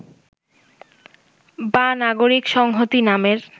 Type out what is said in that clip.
বা নাগরিক সংহতি নামের